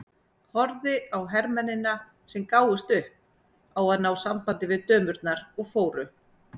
Horfði á hermennina sem gáfust upp á að ná sambandi við dömurnar og fóru.